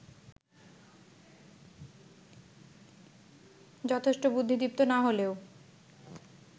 যথেষ্ট বুদ্ধিদীপ্ত না হলেও